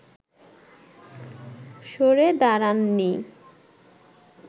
সড়ে দাড়াননি